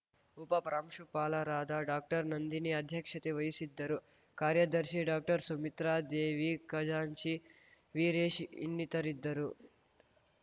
ಉಪಪ್ರಾಂಶುಪಾಲರಾದ ಡಾಕ್ಟರ್ನಂದಿನಿ ಅಧ್ಯಕ್ಷತೆ ವಹಿಸಿದ್ದರು ಕಾರ್ಯದರ್ಶಿ ಡಾಕ್ಟರ್ಸುಮಿತ್ರಾದೇವಿ ಖಜಾಂಚಿ ವೀರೇಶ್‌ ಇನ್ನಿತರಿದ್ದರು